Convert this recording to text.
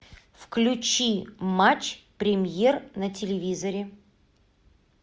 включи матч премьер на телевизоре